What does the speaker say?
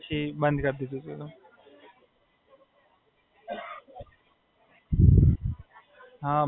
ના એમ જ દોસ્તો સાથે, ક્લાસ છે પણ જતો નહીં, પેલા ચાલુ કર્યું તું પણ પછી બંધ કરી દીધું.